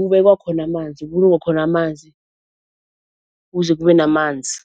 kubekwa khona amanzi, kubulungwa khona amanzi, ukuze kube namanzi.